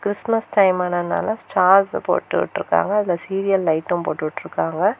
Christmas time ஆனதனால star போட்டு விட்டிருக்காங்க அதுல சீரியல் லைட்டும் போட்டுவிட்ருக்காங்க.